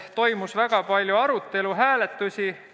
Toimus väga suur arutelu, oli palju hääletusi.